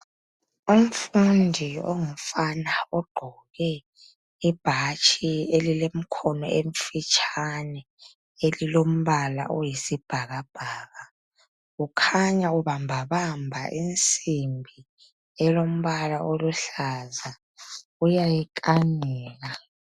Umfundi ongumfana ogqoke ibhatshi elilemikhono emfitshane elilombala oyisibhakabhaka kukhanya ubambabamba insimbi elombala oluhlaza uyakanika